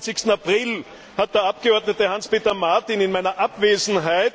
24. April hat der Abgeordnete Hans Peter Martin in meiner Abwesenheit